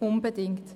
Unbedingt!